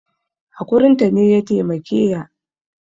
Hakurin ta ne ya taimake ya